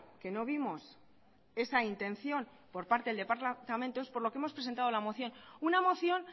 que no vimos esa intención por parte del departamento es por lo que hemos presentado la moción una moción